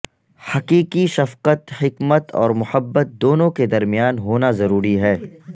حقیقی شفقت حکمت اور محبت دونوں کے درمیان ہونا ضروری ہے